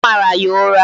Ọ mara ya ụra